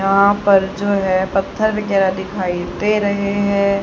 यहां पर जो है पत्थर वगैरह दिखाई दे रहे हैं।